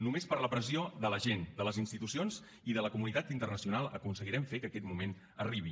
només per la pressió de la gent de les institucions i de la comunitat internacional aconseguirem fer que aquest moment arribi